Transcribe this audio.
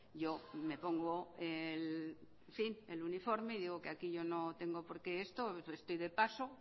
yo me pongo el uniforme y digo que aquí yo no tengo por qué esto que estoy de paso